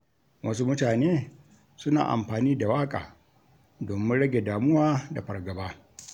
Wasu mutane suna amfani da waƙa domin rage damuwa da fargaba.